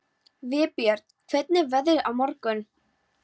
Vébjörn, hvernig er veðrið á morgun?